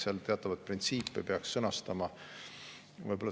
Seal peaks teatavaid printsiipe sõnastama.